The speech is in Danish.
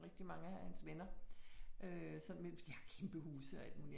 Rigtig mange af hans venner øh sådan med de har kæmpe huse og alt muligt